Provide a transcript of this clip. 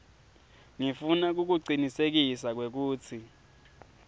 ngifuna kukucinisekisa kwekutsi